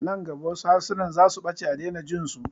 Nan gaba wasu harsunan zasu ɓace a daina jinsu